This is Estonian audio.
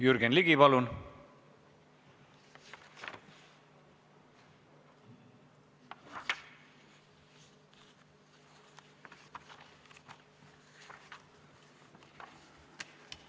Jürgen Ligi, palun!